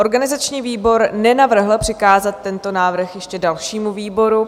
Organizační výbor nenavrhl přikázat tento návrh ještě dalšímu výboru.